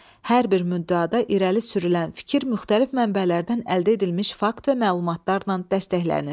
Hər bir müddəada irəli sürülən fikir müxtəlif mənbələrdən əldə edilmiş fakt və məlumatlarla dəstəklənir.